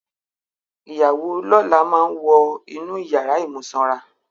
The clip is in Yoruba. Ìyàwó lọ́la máa wọn inú ìyàrà ìmúsanra.